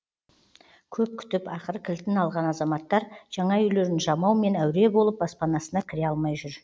көп күтіп ақыры кілтін алған азаматтар жаңа үйлерін жамаумен әуре болып баспанасына кіре алмай жүр